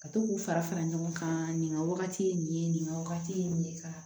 Ka to k'u fara fara ɲɔgɔn kan nin ka wagati ye nin ye nin ka wagati ye nin ye ka